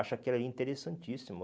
Acho aquilo ali interessantíssimo.